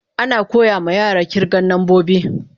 Ana koya ma yara kirgan nambobi.